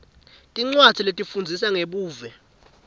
tincwadzi letifundzisa ngebuve